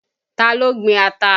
Taa ló gbin ata?